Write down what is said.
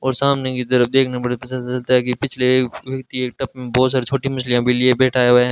और सामने की तरफ देखना पड़ेगा कि पिछले एक टब में बहुत सारी छोटी मछलियां भी लिए बैठाए हुए हैं।